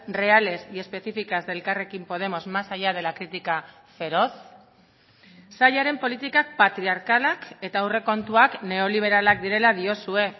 reales y específicas de elkarrekin podemos más allá de la crítica feroz sailaren politikak patriarkalak eta aurrekontuak neoliberalak direla diozue